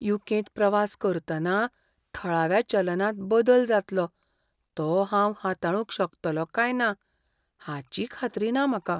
You. कें.त प्रवास करतना थळाव्या चलनांत बदल जातलो तो हांव हाताळूंक शकतलों काय ना हाची खात्री ना म्हाका.